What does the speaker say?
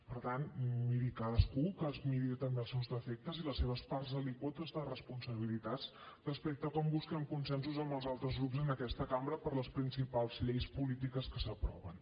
per tant miri cadascú que es miri també els seus defectes i les seves parts alíquotes de responsabilitats respecte a com busquen consensos amb els altres grups en aquesta cambra per a les principals lleis polítiques que s’aproven